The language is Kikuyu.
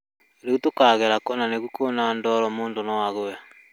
Riu tũkagera kũ na nĩguo kwĩna ndoro mũndũ no agũe?